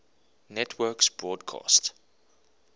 networks broadcast